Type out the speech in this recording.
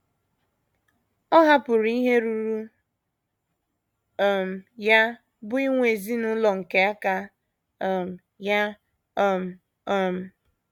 Ọ hapụrụ ihe ruuru um ya bụ́ inwe ezinụlọ nke aka um ya. um. um